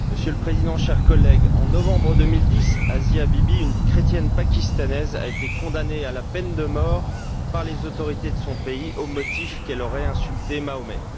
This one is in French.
Monsieur le Président, chers collègues, en novembre 2010, Asia Bibi, une chrétienne pakistanaise, a été condamnée à la peine de mort par les autorités de son pays au motif qu'elle aurait insulté Mahomet.